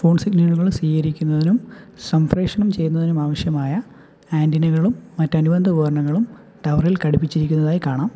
സ്വീകരിക്കുന്നതിനും സംപ്രേക്ഷണം ചെയ്യുന്നതിനും ആവശ്യമായ ആന്റിനകളും മറ്റ് അനുബന്ധ ഉപകരണങ്ങളും ടവർ ഇൽ ഘടിപ്പിച്ചിരിക്കുന്നതായി കാണാം.